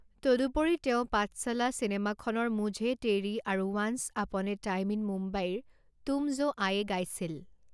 তদুপৰি তেওঁ পাঠচালা চিনেমাখনৰ মুঝে তেৰী আৰু once upon a time in মুম্বাইৰ তুম জো আয়ে গাইছিল।